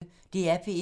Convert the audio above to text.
DR P1